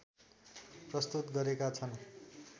प्रस्तुत गरेका छन्।